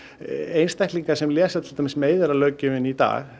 einstaklingar sem lesa meiðyrðalöggjöfina í dag